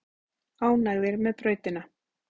Ánægðir með brautina